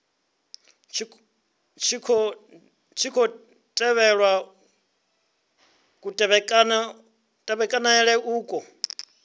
tshi khou tevhelwa kutevhekanele uku